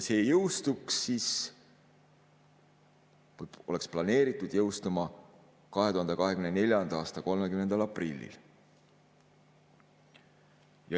See on planeeritud jõustuma 2024. aasta 30. aprillil.